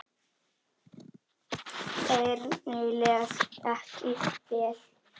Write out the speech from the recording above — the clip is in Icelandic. Erni leið ekki vel.